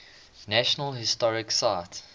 national historic site